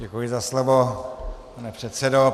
Děkuji za slovo, pane předsedo.